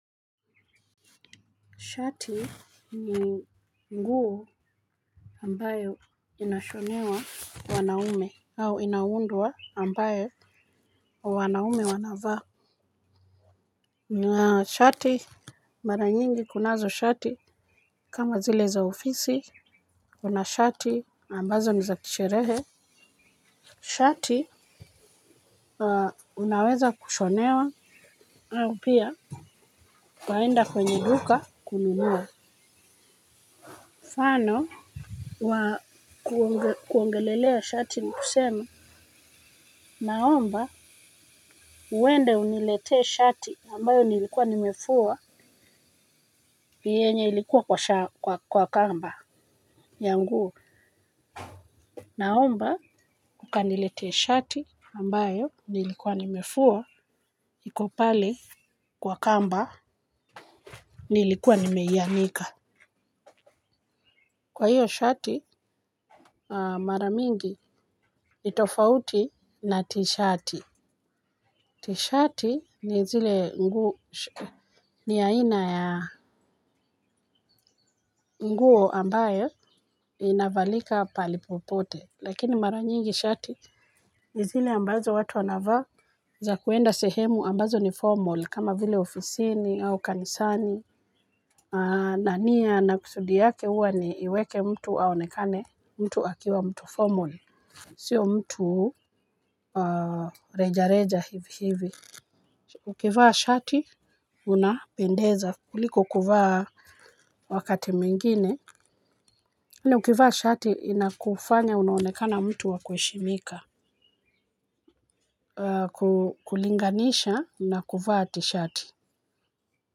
Shati ni nguo ambayo inashonewa wanaume. Au inaundwa ambayo wanaume wanavaa. Shati mara nyingi kunazo shati kama zile za ofisi kuna shati ambazo ni za kisherehe. Shati unaweza kushonewa au pia waenda kwenye duka kununua mfano wa kuongelelea shati ni kusema naomba uwende uniletee shati ambayo nilikuwa nimefuwa yenye ilikuwa kwa kwa kamba ya nguo. Naomba ukaniletee shati ambayo nilikuwa nimefuwa iko pale kwa kamba nilikuwa nimeianika. Kwa hiyo shati mara mingi nitofauti na tishati. Tishati ni zile nguo ni aina ya nguo ambaye inavalika pahali popote lakini mara nyingi shati ni zile ambazo watu anavaa za kuenda sehemu ambazo ni formal kama vile ofisini au kanisani na nia na kusudi yake huwa ni iweke mtu aonekane mtu akiwa mtu formal sio mtu reja reja hivi hivi. Ukivaa shati unapendeza kuliko kuvaa wakati mingine tena ukivaa shati inakufanya unaonekana mtu wa kuheshimika. Kulinganisha na kuvaa t-shati.